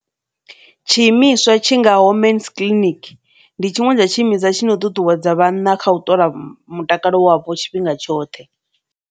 Tshiimiswa tshi ngaho Mens Clinic ndi tshiṅwe tsha tshiimiswa tshino ṱuṱuwedza vhanna kha u ṱola mutakalo wavho tshifhinga tshoṱhe.